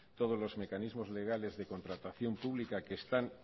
todos los mecanismos legales de contratación pública que están